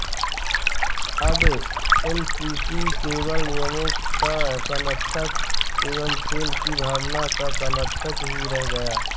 अब एमसीसी केवल नियमों का संरक्षक एवं खेल की भावना का सरंक्षक ही रह गया